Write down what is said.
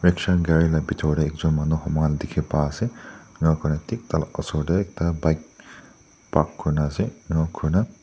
rickshaw gari la bitor te ekjun manu humai na dikhi pai ase inika kurina thik tai laga osor te bike park kuri kena ase inika kuri na